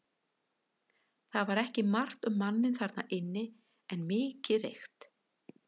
Það var ekki margt um manninn þarna inni en mikið reykt.